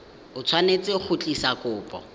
o tshwanetse go tlisa kopo